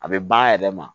A bɛ ban a yɛrɛ ma